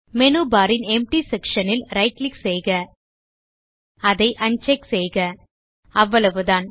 menu bar ன் empty section ல் right click செய்க அதை அன்செக் செய்க அவ்வளவுதான்